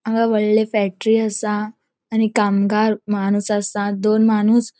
हांगा वडले फैक्ट्री असा आणि कामगार माणूस आसा दोन माणूस --